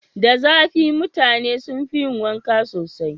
Da zafi mutane sun fi yi wanka sosai.